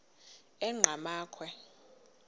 enqgamakhwe